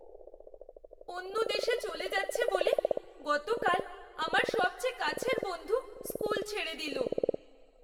অন্য দেশে চলে যাচ্ছে বলে গতকাল আমার সবচেয়ে কাছের বন্ধু স্কুল ছেড়ে দিল।